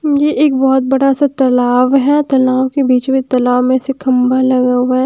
ये एक बहोत बड़ा सा तलाव है तलाव के बीच में तलाव में से खंभा लगा हुआ है।